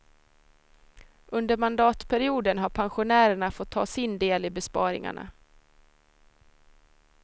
Under mandatperioden har pensionärerna fått ta sin del i besparingarna.